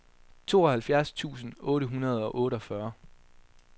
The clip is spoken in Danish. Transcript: tooghalvfjerds tusind otte hundrede og otteogfyrre